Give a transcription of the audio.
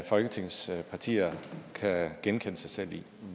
folketingets partier kan genkende sig selv i